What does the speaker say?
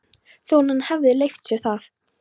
Þótt hann hefði leyft sér það.